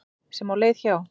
sem á leið hjá.